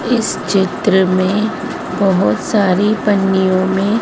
इस चित्र में बहोत सारी पन्नियों में--